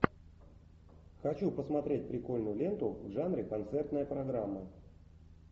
хочу посмотреть прикольную ленту в жанре концертная программа